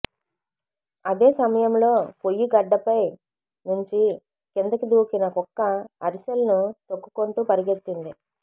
అదే సమయంలో పొయ్యి గడ్డపై నుంచి కిందికి దూకిన కుక్క అరిసెలను తొక్కుకుంటూ పరుగెత్తింది